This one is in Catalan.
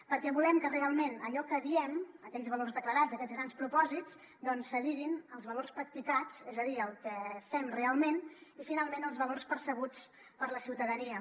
perquè volem que realment allò que diem aquells valors declarats aquests grans propòsits doncs s’adiguin als valors practicats és a dir al que fem realment i finalment els valors percebuts per la ciutadania